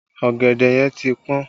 Ọ̀gẹ̀dẹ̀ yẹn ti pọn